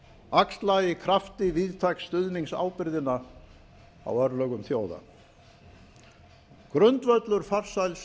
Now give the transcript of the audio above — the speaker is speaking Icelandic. axla í krafti víðtæks stuðnings ábyrgðina á örlögum þjóða grundvöllur farsæls